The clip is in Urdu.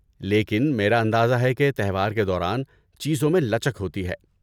لیکن میرا اندازہ ہے کہ تہوار کے دوران چیزوں میں لچک ہوتی ہے۔